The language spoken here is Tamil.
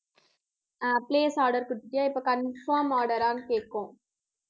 அஹ் place order கொடுத்துட்டியா, இப்போ confirm order ஆன்னு கேக்கும்